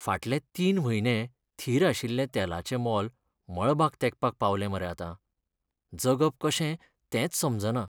फाटले तीन म्हयने थीर आशिल्लें तेलाचें मोल मळबाक तेंकपाक पावलें मरे आतां. जगप कशें तेंच समजना.